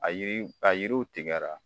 A a yiriw a yiriw tigɛra.